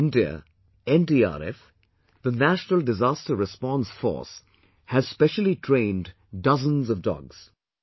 In India, NDRF, the National Disaster Response Force has specially trained dozens of dogs